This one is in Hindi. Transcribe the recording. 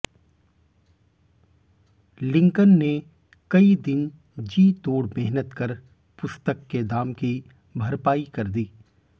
लिंकन ने कई दिन जीतोड़ मेहनत कर पुस्तक के दाम की भरपाई कर दी